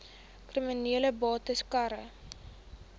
kriminele bates cara